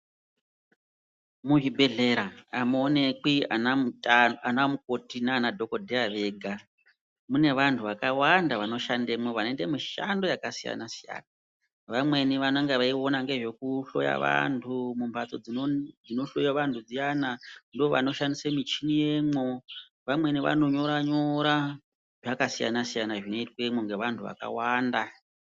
Muzvibhedhlera hamuonekwi anamukoti nanadhokodheya vega, mune vantu vakawanda vanoshandemwo, vanoite mishando yakasiyana-siyana. Vamweni vanenge veiona ngezvekuhloya vantu mumbatso dzinohloya vantu dziyana. Ndovanoshandise michini yemwo. Vamweni vanonyora-nyora. Zvakasiyana-siyana zvinoitwemwo ngevantu vakawanda.